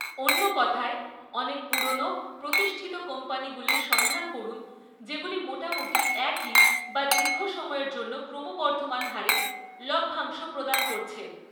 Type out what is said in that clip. অন্য কথায়, অনেক পুরানো, প্রতিষ্ঠিত কোম্পানিগুলির সন্ধান করুন যেগুলি মোটামুটি একই বা দীর্ঘ সময়ের জন্য ক্রমবর্ধমান হারে লভ্যাংশ প্রদান করছে।